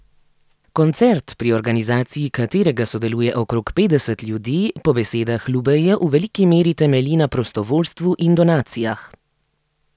Koncert, pri organizaciji katerega sodeluje okrog petdeset ljudi, po besedah Lubejeve v veliki meri temelji na prostovoljstvu in donacijah.